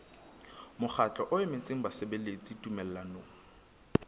mokgatlo o emetseng basebeletsi tumellanong